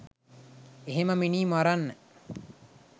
එහෙම මිනී මරන්න